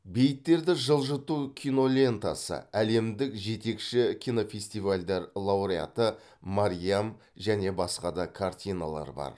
бейіттерді жылжыту кинолентасы әлемдік жетекші кинофестивальдер лауреаты мариам және басқа да картиналар бар